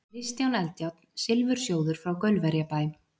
Kristján Eldjárn, Silfursjóður frá Gaulverjabæ